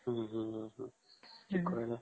ହୁଁ ହୁଁ ହୁଁ କହୁନ